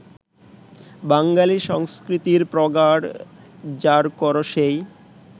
বাঙালি সংস্কৃতির প্রগাঢ় জারকরসেই